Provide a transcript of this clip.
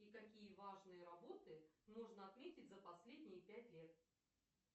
и какие важные работы нужно отметить за последние пять лет